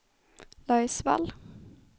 Laisvall